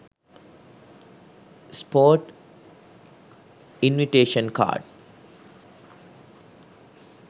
sport invitation card